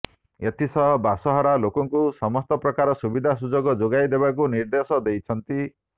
ଏଥିସହ ବାସହରା ଲୋକଙ୍କୁ ସମସ୍ତ ପ୍ରକାର ସୁବିଧା ସୁଯୋଗ ଯୋଗାଇ ଦେବାକୁ ନିର୍ଦ୍ଦେଶ ଦେଇଛନ୍ତି